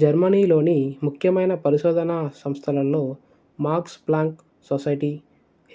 జర్మనీలోని ముఖ్యమైన పరిశోధనా సంస్థలలో మాక్స్ ప్లాంక్ సొసైటీ